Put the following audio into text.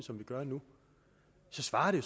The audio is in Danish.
som vi gør nu så svarer det